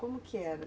Como que era?